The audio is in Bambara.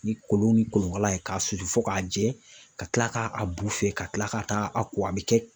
Ni kolon ni kolonkala ye k'a susu fo k'a jɛ, ka kila k'a bu fiyɛ ka kila ka taa a ko a bɛ kɛ